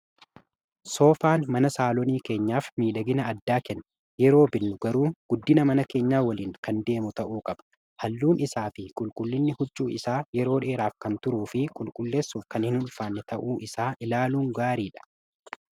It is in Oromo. soofaan mana saalonii keenyaaf miidhagina addaa kenne yeroo binnu garuu guddina mana keenyaa waliin kan deemu ta'uu qaba halluun isaa fi qulqullinni huccuu isaa yeroo dheeraaf kan turuu fi qulqulleessuuf kan hin ulfaannee ta'uu isaa ilaaluun gaariidha.